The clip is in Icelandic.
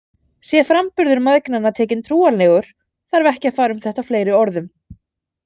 Sé framburður mæðgnanna tekinn trúanlegur, þarf ekki að fara um þetta fleiri orðum.